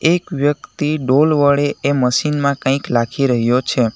એક વ્યક્તિ ડોલ વડે એ મશીનમાં કંઈક લાખી રહ્યો છે.